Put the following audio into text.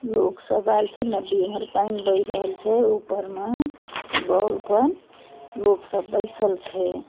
लोग सब आएल सब छै नदी भर पानी बहय रहल छै ऊपर मा पर लोग सब बइसल छै।